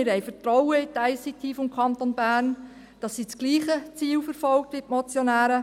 Wir haben Vertrauen in die ICT des Kantons Bern, dass sie das gleiche Ziel verfolgt wie die Motionäre.